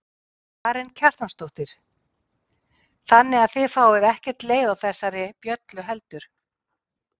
Karen Kjartansdóttir: Þannig að þið fáið ekkert leið á þessari bjöllu heldur?